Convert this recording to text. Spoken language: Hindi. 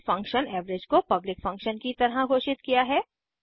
और फंक्शन एवरेज को पब्लिक फंक्शन की तरह घोषित किया है